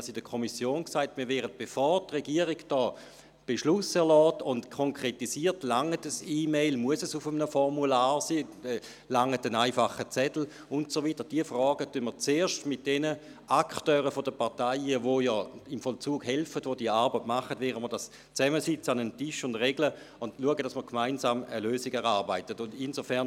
Wir haben der Kommission gegenüber gesagt, dass wir uns in der Frage, ob eine E-Mail ausreicht, ob es ein Formular sein muss oder ob ein einfacher Zettel genügt und so weiter zuerst mit den Akteuren der Parteien, welche im Vollzug helfen und die Arbeit machen, zusammen an einen Tisch setzen werden, um gemeinsam eine Lösung zu erarbeiten, bevor die Regierung einen Beschluss erlässt.